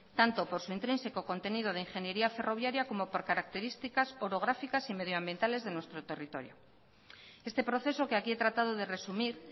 tanto por su intrínseco contenido de ingeniería ferroviaria como por características orográficas y medioambientales de nuestro territorio este proceso que aquí he tratado de resumir